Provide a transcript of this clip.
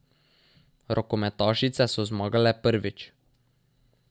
Rokometašice so zmagale prvič.